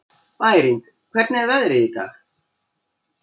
Bæring, hvernig er veðrið í dag?